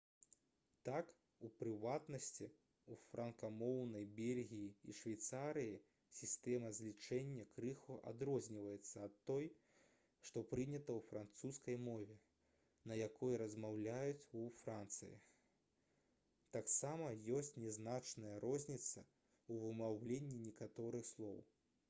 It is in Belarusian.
так у прыватнасці у франкамоўнай бельгіі і швейцарыі сістэма злічэння крыху адрозніваецца ад той што прынята ў французскай мове на якой размаўляюць у францыі таксама ёсць нязначная розніца ў вымаўленні некаторых слоў